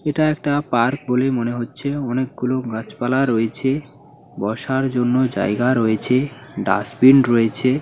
এটা একটা পার্ক বলে মনে হচ্ছে। অনেক গুলো গাছপালা রয়েছে বসার জন্য জায়গা রয়েছে ডাস্টবিন রয়েছে।